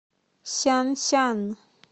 сянсян